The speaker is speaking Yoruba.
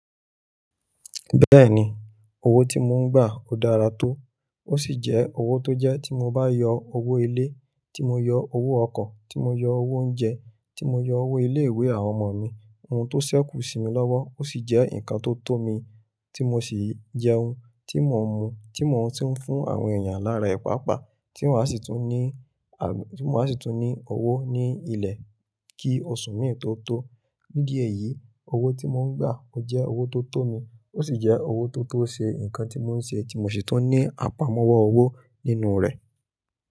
Bẹ́ẹ̀ni, owó tí mo ń gbà ó dára tó, ó sì jẹ́ owó tó jẹ́ tí mo bá yọ owó ilé, tí mo yọ owó ọkọ̀, tí mo yọ owó oúnjẹ, tí mo yọ owó ilé ìwé àwọn ọmọ mi, ohun tó ṣẹ́kù sí mi lọ́wọ́, ó sì jẹ́ ǹkan tó tọ́ mi, tí mo sì jẹun, tí mò ń mu, tí mò ń tún ń fún àwọn èèyàn lára ẹ̀ pa pa, tí mò á sì tún ní, à, tí mò á sì tún ní owó ní ilẹ̀ kí oṣù mi tó tó. Nídí ẹyìí, owó tí mò ń gbà ó jẹ́ owó tó tọ́ mi, ó sì jẹ́ owó tó tó ṣe ǹkan tí mò ń ṣe tí mò sì tún ní àpamọ́wọ́ owó nínú rẹ̀.